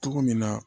Cogo min na